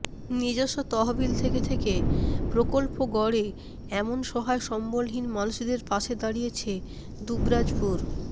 নিজস্ব তহবিল থেকে থেকে প্রকল্প গড়ে এমন সহায় সম্বলহীন মানুষেদের পাশে দাঁড়িয়েছে দুবরাজপুর